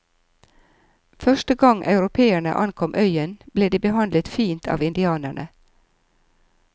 Første gang europeerne ankom øyen ble de behandlet fint av indianerne.